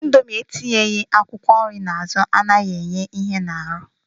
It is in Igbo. Indomie etinyeghi akwụkwọ nri na azụ anaghị enye ihe n'arụ